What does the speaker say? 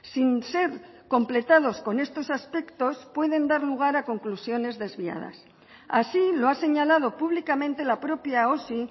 sin ser completados con estos aspectos pueden dar lugar a conclusiones desviadas así lo ha señalado públicamente la propia osi